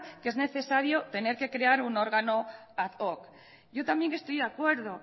que es necesario tener que crear un órgano ad hoc yo también estoy de acuerdo